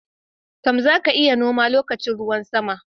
To, za ka iya noma lokacin ruwan sama.